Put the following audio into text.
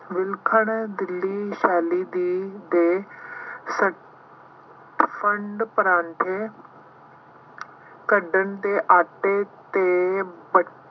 ਵਿਲੱਖਣ ਦਿੱਲੀ ਸ਼ੈਲੀ ਦੀ ਦੇ ਫੰਡ ਕੱਢਣ ਤੇ ਆਟੇ ਅਤੇ